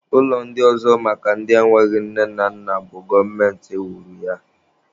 Ụlọ ndị ọzọ maka ndị enweghị nne na nna bụ gọọmenti wuru ya